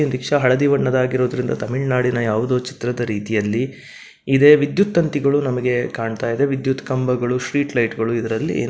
Rickshaw ಹಳದಿ ಬಣ್ಣದಾಗಿರೋದ್ರಿಂದ ತಮಿಳ್ ನಾಡಿನ ಯಾವುದೋ ಚಿತ್ರದ ರೀತಿಯಲ್ಲಿ ಇದೆ. ವಿದ್ಯುತ್ ತಂತಿಗಳು ನಮಗೆ ಕಾಣ್ತಾ ಇದೆ. ವಿದ್ಯುತ್ ಕಂಬಗಳು ಸ್ಟ್ರೀಟ್ ಲೈಟ್ಗಳು ಇದರಲ್ಲಿ --